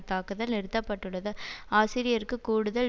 தாக்குதல் நிறுத்த பட்டுள்ளது ஆசிரியருக்கு கூடுதல்